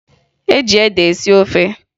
E ji ede esi ofe